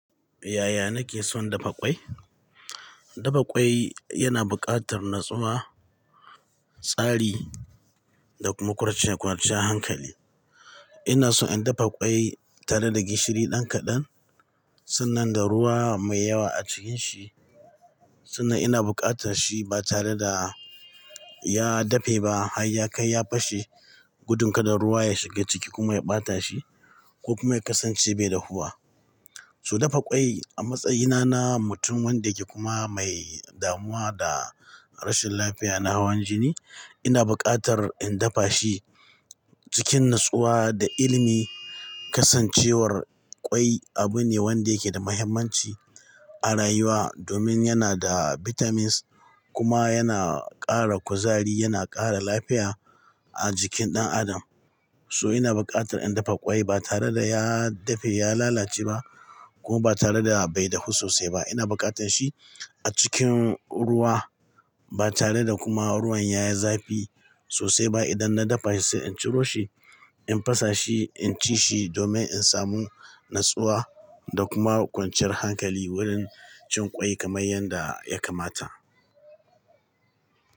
Yaya nake son dafa ƙwai? Dafa ƙwai yana buƙatar natsuwa, tsari da kuma kwanciyan hankali. Ina so in dafa ƙwai tare da gishiri dan kaɗan, sannan da ruwa mai yawa a cikin shi, sannan ina buƙatar shi ba tare da ya dafe ba har ya kai ya fashe gudun kada ruwa ya shiga ciki kuma ya ɓata shi ko kuma ya kasance bai dahuwa. So dafa ƙwai a matsayina na mutum wanda yake kuma mai damuwa da rashin lafiya na hawan jini, ina buƙatar in dafa shi cikin natsuwa da ilimi. Kasancewar ƙwai abu ne wanda yake da mahimmanci a rayuwa domin yana da vitamins kuma yana ƙara kuzari, yana ƙara lafiya a jikin ɗan adam. So ina buƙatar in dafa ƙwai ba tare da ya dafe ya lalace ba kuma ba tare da bai dahu sosai ba. Ina buƙatar shi a cikin ruwa ba tare da kuma ruwan ya yi zafi sosai ba. Idan na dafa shi sai in ciro shi, in fasa shi, in ci shi domin in samu natsuwa da kuma kwanciyar hankali wurin cin ƙwai kamar yanda ya kamata.